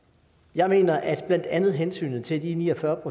jeg mener at blandt andet hensynet til de ni og fyrre